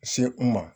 Se u ma